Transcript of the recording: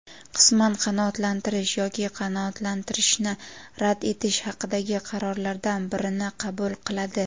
qisman qanoatlantirish yoki qanoatlantirishni rad etish haqidagi qarorlardan birini qabul qiladi.